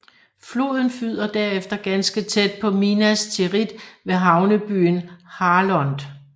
Floden flyder derefter ganske tæt på Minas Tirith ved havnebyen Harlond